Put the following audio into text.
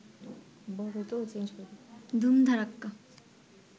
ধুম ধাড়াক্কা